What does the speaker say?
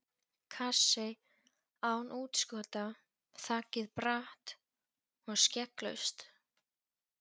Kassi, án útskota, þakið bratt og skegglaust.